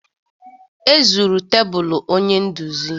E zuru tebụlụ onye nduzi